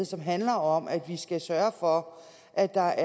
som handler om at vi skal sørge for at der